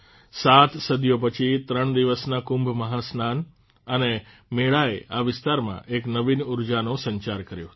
સાત સદીઓ પછી ૩ દિવસના કુંભ મહાસ્નાન અને મેળાએ આ વિસ્તારમાં એક નવીન ઉર્જાનો સંચાર કર્યો હતો